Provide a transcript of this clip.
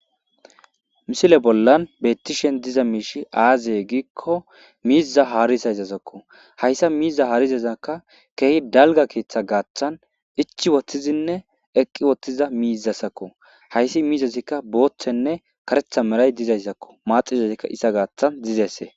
Misile bollan beettishen diza miishi aazee giikko miiza haaris haysasakko hayssa miiza haarizezakka keehi dalga keeththe gaaththan ichi wottizinne eqqi woththiza miizasakko hayssi miizazikka booththenne karetha meray dizayssakko maaxizezikka isa gaaththan dizesse.